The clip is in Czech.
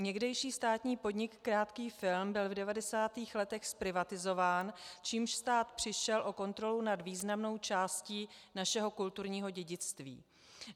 Někdejší státní podnik Krátký film byl v 90. letech zprivatizován, čímž stát přišel o kontrolu nad významnou částí našeho kulturního dědictví.